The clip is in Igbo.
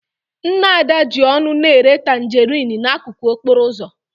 Nne Ada ji ọṅụ na-ere tanjerịn n'akụkụ okporo ụzọ.